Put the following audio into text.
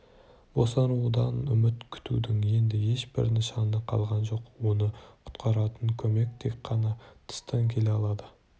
босанудан үміт күтудің енді ешбір нышаны қалған жоқ оны құтқаратын көмек тек қана тыстан келе алады